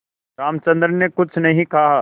रामचंद्र ने कुछ नहीं कहा